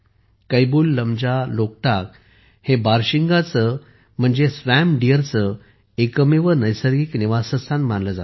कैबुललमजा लोकटाक हे बारशिंगा swamp deer चे एकमेव नैसर्गिक निवासस्थान मानले जाते